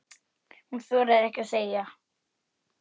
Hún þorir ekkert að segja.